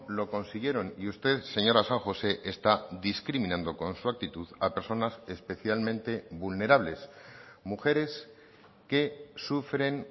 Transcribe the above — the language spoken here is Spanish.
lo consiguieron y usted señora san josé está discriminando con su actitud a personas especialmente vulnerables mujeres que sufren